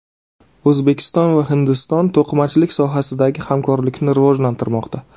O‘zbekiston va Hindiston to‘qimachilik sohasidagi hamkorlikni rivojlantirmoqda.